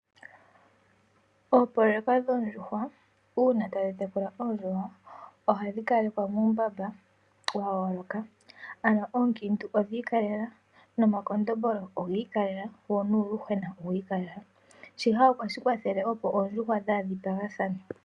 Oopoloyeka dhoondjuhwa uuna to tekula oondjuhwa, ohadhi kalekwa muumbamba wa yooloka, ano oonkiiintu odha ikalela, noma kondombolo oga ikalela, wo nuuyuhwena owa ikalela, shika ohashi kwathele opo oondjuhwa dhaa dhipagathane.